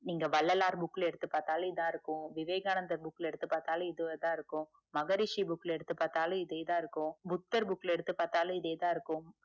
நீங்க வள்ளலார் book ல எடுத்துப்பார்த்தாலும் இதான் இருக்கும் விவேகானந்தர book எடுத்து பாத்தாலும் இதே தான் இருக்கும் மகரிஷி book ல எடுத்து பாத்தாலும் இதே தான் இருக்கும் புத்தர் book ல பாத்தாலும் இதே தான் இருக்கும்